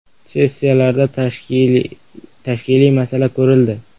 Sessiyalarda tashkiliy masala ko‘rildi.